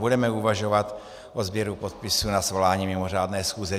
Budeme uvažovat o sběru podpisů na svolání mimořádné schůze.